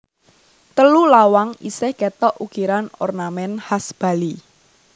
Telu lawang isih kétok ukiran ornamèn khas Bali